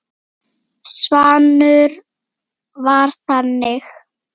Svanur var þannig.